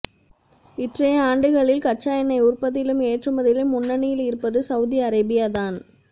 இற்றையாண்டுகளில் கச்சா எண்ணெய் உற்பத்தியிலும் ஏற்றுமதியிலும் முன்னணியில் இருப்பது சவுதி அரேபியா தான்